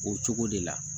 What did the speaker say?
O cogo de la